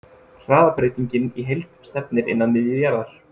Hraðabreytingin í heild stefnir inn að miðju jarðar.